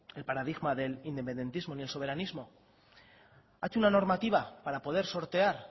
el paradigma del independentismo ni el soberanismo ha hecho una normativa para poder sortear